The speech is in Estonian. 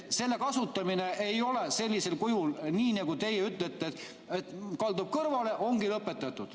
Selle kasutamine ei ole nii, nagu teie ütlete, et kaldub kõrvale ja ongi lõpetatud.